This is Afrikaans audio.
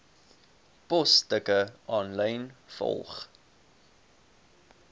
posstukke aanlyn volg